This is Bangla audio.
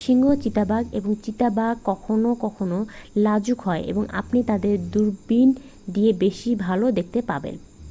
সিংহ চিতা এবং চিতাবাঘ কখনও কখনও লাজুক হয় এবং আপনি তাদের দূরবীণ দিয়েই বেশি ভাল দেখতে পাবেন